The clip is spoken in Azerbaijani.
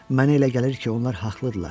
Mənə elə gəlir ki, onlar haqlıdırlar.